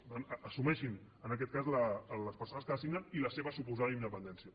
per tant assumeixin en aquest cas les persones que assignen i la seva suposada independència